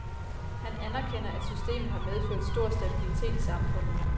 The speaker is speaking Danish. Han anerkender, at systemet har medført stor stabilitet i samfundet.